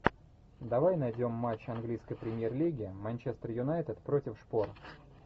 давай найдем матч английской премьер лиги манчестер юнайтед против шпор